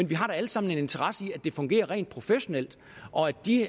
vi har da alle sammen en interesse i at det fungerer rent professionelt og at de